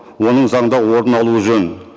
оның заңда орын алуы жөн